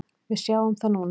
Við sjáum það núna.